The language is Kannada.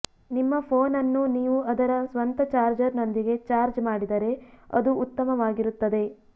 ನಿಮ್ಮ ಫೋನ್ ಅನ್ನು ನೀವು ಅದರ ಸ್ವಂತ ಚಾರ್ಜರ್ನೊಂದಿಗೆ ಚಾರ್ಜ್ ಮಾಡಿದರೆ ಅದು ಉತ್ತಮವಾಗಿರುತ್ತದೆ